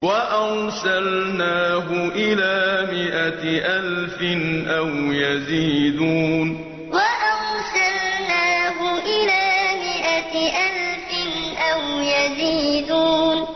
وَأَرْسَلْنَاهُ إِلَىٰ مِائَةِ أَلْفٍ أَوْ يَزِيدُونَ وَأَرْسَلْنَاهُ إِلَىٰ مِائَةِ أَلْفٍ أَوْ يَزِيدُونَ